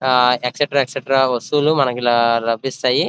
ఆ extra extra వస్తువులు మనకి ల లభిస్తాయి.